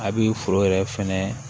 A bi foro yɛrɛ fɛnɛ